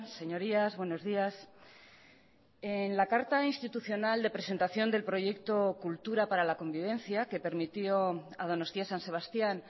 señorías buenos días en la carta institucional de presentación del proyecto cultura para la convivencia que permitió a donostia san sebastián